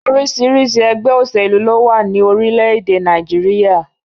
Orísirísi ẹgbẹ́ òṣèlú ló wà ní orílẹ̀-èdè Nàìjíríyà